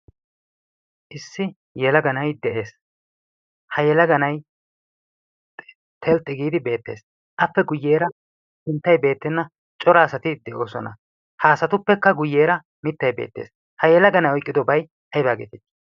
Issi yelaga na'aay de'ees. Ha yelaga na'aay telxxi giidi beettees. Appe guyyeera sinttay beettenna cora asati de'oosona. Haasatuppekka guyyeera mittay beettees. Ha yelaga na'aay oyqqidobay ay baa geetii?